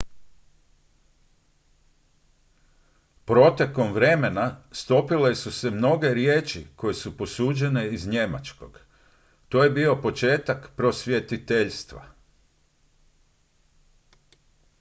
protekom vremena stopile su se mnoge riječi koje su posuđene iz njemačkog to je bio početak prosvjetiteljstva